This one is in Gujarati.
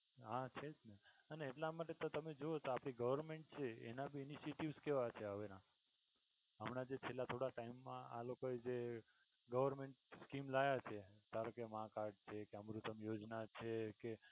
હા છે જ ને અને એટલા માટે તો તમે જોયું હોય તો આપણી Government છે એના ભી initiatives કેવા છે હવે ના હમણાં જે પેલા થોડા time મા આ લોકો પર જે government scheme લાવ્યા છે ધારોકે માં card અમૃતમ યોજના છે કે